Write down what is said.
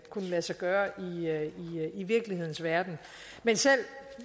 lade sig gøre i virkelighedens verden men selv